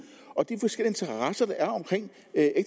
og at